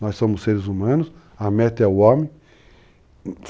Nós somos seres humanos, a meta é o homem.